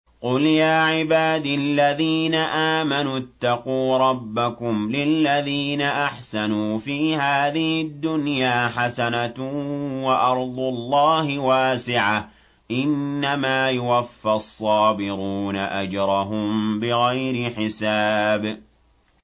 قُلْ يَا عِبَادِ الَّذِينَ آمَنُوا اتَّقُوا رَبَّكُمْ ۚ لِلَّذِينَ أَحْسَنُوا فِي هَٰذِهِ الدُّنْيَا حَسَنَةٌ ۗ وَأَرْضُ اللَّهِ وَاسِعَةٌ ۗ إِنَّمَا يُوَفَّى الصَّابِرُونَ أَجْرَهُم بِغَيْرِ حِسَابٍ